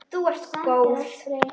Þú ert góð!